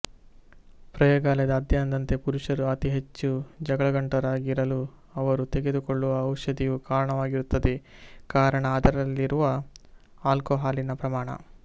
ಪ್ರಯೋಗಾಲಯದ ಅಧ್ಯಯನದಂತೆ ಪುರುಷರು ಅತಿ ಹೆಚ್ಚು ಜಗಳಗಂಟರಾಗಿರಲು ಅವರು ತೆಗೆದು ಕೊಳ್ಳುವ ಔಷದಿಯು ಕಾರಣವಾಗಿರುತ್ತದೆ ಕಾರಣ ಅದರಲ್ಲಿರುವ ಆಲ್ಕೊಹಾಲಿನ ಪ್ರಮಾಣ